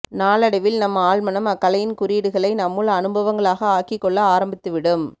நாளடைவில் நம் ஆழ்மனம் அக்கலையின் குறியீடுகளை நம்முள் அனுபவங்களாக ஆக்கிக்கொள்ள ஆரம்பித்துவிடும்